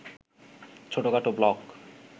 ছোটখাটো ব্লক